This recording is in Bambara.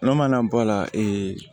N'o mana bɔ a la